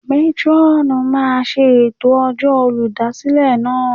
Métrọ́ọ̀nù máa ṣe ètò ọjọ́ olùdásílẹ̀ náà.